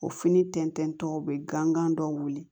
O fini tɛntɛntɔw bɛ gankan dɔw wuli